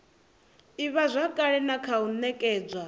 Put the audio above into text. ivhazwakale na kha u nekedzwa